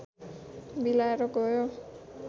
बिलाएर गयो